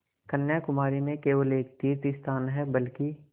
कन्याकुमारी में केवल एक तीर्थस्थान है बल्कि